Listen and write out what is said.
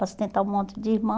Para sustentar um monte de irmão.